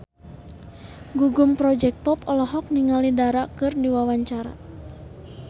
Gugum Project Pop olohok ningali Dara keur diwawancara